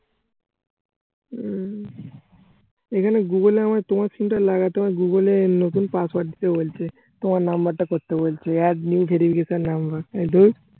হম এখানে google এ আমার তোমার সিমটা লাগাও তোমার google এ নতুন password দিতে বলছে। তোমার number টা করতে বলছে add new verification number এই ধুর